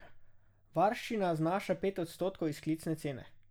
Varščina znaša pet odstotkov izklicne cene.